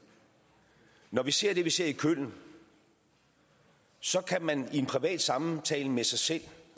når vi ser det vi ser i køln så kan man i en privat samtale med sig selv